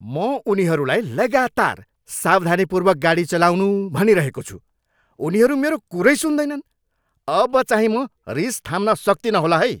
म उनीहरूलाई लगातार सावधानीपूर्वक गाडी चलाउनु भनिरहेको छु, उनीहरू मेरो कुरै सुन्दैनन्। अबचाहिँ म रिस थाम्न सक्तिनँ होला है!